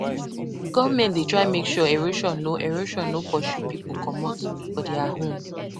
Government dey try make sure erosion no erosion no pursue pipu comot for there home.